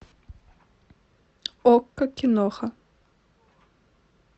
окко киноха